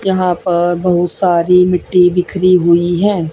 यहां पर बहुत सारी मिट्टी बिखरी हुई है।